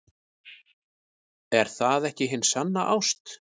Er það ekki hin sanna ást?